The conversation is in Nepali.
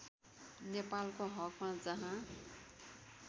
नेपालको हकमा जहाँ